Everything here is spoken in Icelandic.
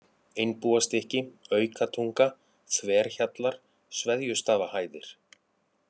Einbúastykki, Aukatunga, Þverhjallar, Sveðjustaðahæðir